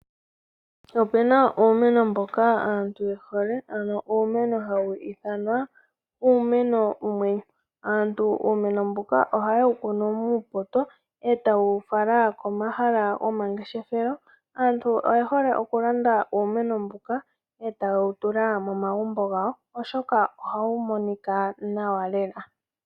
Opena uumeno mboka aantu yehole ano uumeno mboka hawu ithanwa uumeno wumwe. Aantu uumeno mbuka ohaye wu kunu muupoto ee taye wu fala komahala gomangefeshelo aantu iye hole okulanda uumeno mbuka ee taye wutula momagumbo gawo molwaashoka ohawu monika nawa.